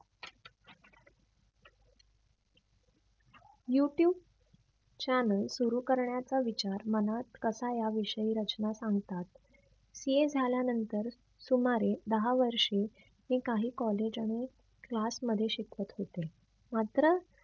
youtube channel सुरु करण्याचा विचार मनात कसा या विषयी रचना सांगतात CA झाल्या नंतर सुमारे दहा वर्षे हे काही college आणि class मध्ये शिकवत होते. मात्र